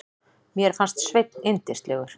Mér fannst Sveinn yndislegur.